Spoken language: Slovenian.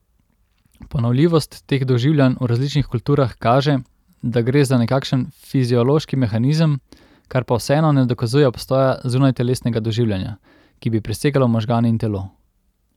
Ponovljivost teh doživljanj v različnih kulturah kaže, da gre za nekakšen fiziološki mehanizem, kar pa vseeno ne dokazuje obstoja zunajtelesnega doživljanja, ki bi presegalo možgane in telo.